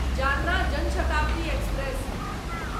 Jalna Jan Shatabdi express